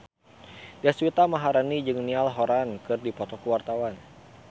Deswita Maharani jeung Niall Horran keur dipoto ku wartawan